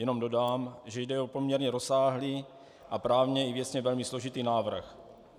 Jenom dodám, že jde o poměrně rozsáhlý a právně i věcně velmi složitý návrh.